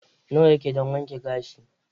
Nawa yake don wanke gashi?